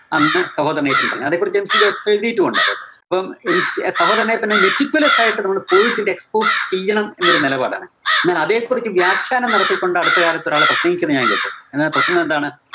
അന്ന് സഹോദരന്‍ അയ്യപ്പന്‍ പറഞ്ഞു. അതെക്കുറിച്ച് MC ജോസഫ് എഴുതീട്ടും ഉണ്ട് അതെക്കുറിച്ച്. അപ്പം MC സഹോദരന്‍ അയ്യപ്പന് meticulous ആയിട്ട് നമ്മള് ന്റെ ചെയ്യണം എന്നൊരു നിലപാടാണ്. എന്നാൽ അതെക്കുറിച്ച് വ്യാഖ്യാനം നടത്തിക്കൊണ്ട് അടുത്ത കാലത്തൊരാള് പ്രസംഗിക്കുന്നത് ഞാന്‍ കേട്ടു. എന്നതാ പ്രസംഗം എന്താണ്